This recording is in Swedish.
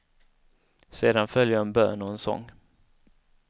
Sedan följer en bön och en sång.